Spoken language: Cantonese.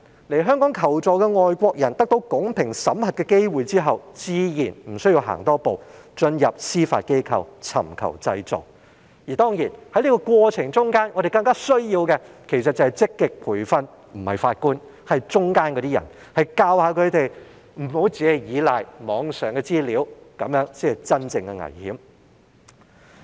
來港求助的外國人得到公平審核的機會之後，自然無須多走一步進入司法機構尋求濟助，而在這個過程之中，我們更需要積極培訓的不是法官而是當中的人員，教導他們不要只倚賴網上資料，因為這樣做是真正的危險。